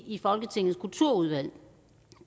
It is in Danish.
i folketingets kulturudvalg